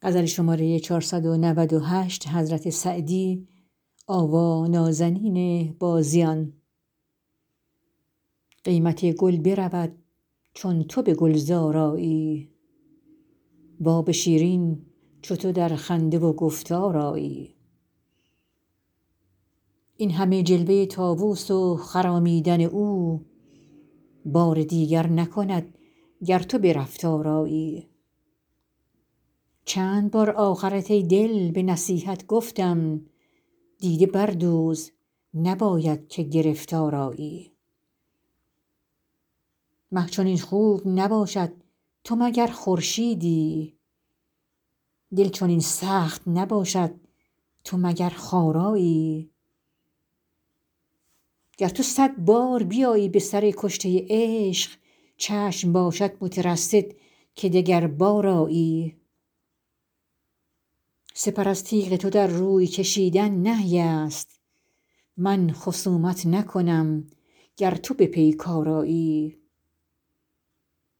قیمت گل برود چون تو به گلزار آیی و آب شیرین چو تو در خنده و گفتار آیی این همه جلوه طاووس و خرامیدن او بار دیگر نکند گر تو به رفتار آیی چند بار آخرت ای دل به نصیحت گفتم دیده بردوز نباید که گرفتار آیی مه چنین خوب نباشد تو مگر خورشیدی دل چنین سخت نباشد تو مگر خارایی گر تو صد بار بیایی به سر کشته عشق چشم باشد مترصد که دگربار آیی سپر از تیغ تو در روی کشیدن نهی است من خصومت نکنم گر تو به پیکار آیی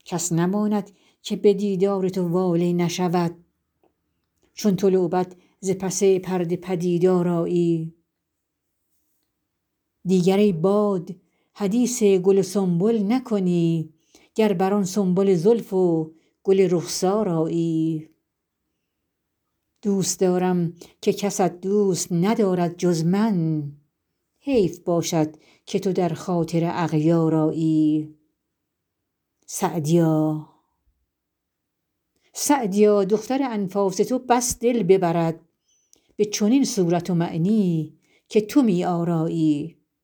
کس نماند که به دیدار تو واله نشود چون تو لعبت ز پس پرده پدیدار آیی دیگر ای باد حدیث گل و سنبل نکنی گر بر آن سنبل زلف و گل رخسار آیی دوست دارم که کست دوست ندارد جز من حیف باشد که تو در خاطر اغیار آیی سعدیا دختر انفاس تو بس دل ببرد به چنین صورت و معنی که تو می آرایی